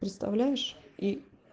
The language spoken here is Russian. представляешь и